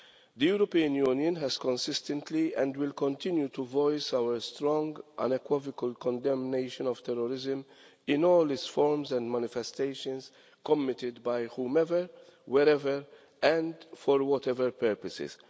The European Union has consistently voiced, and will continue to voice, our strong unequivocal condemnation of terrorism in all its forms and manifestations committed by whomsoever, wherever and for whatever purposes.